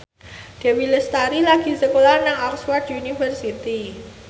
Dewi Lestari lagi sekolah nang Oxford university